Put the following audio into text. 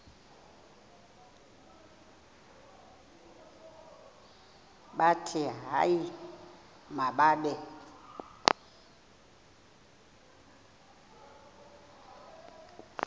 bathi hayi mababe